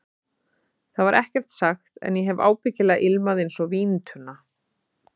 Það var ekkert sagt, en ég hef ábyggilega ilmað einsog víntunna.